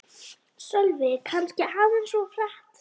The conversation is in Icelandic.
Sölvi: Kannski aðeins of hratt